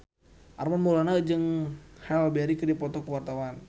Armand Maulana jeung Halle Berry keur dipoto ku wartawan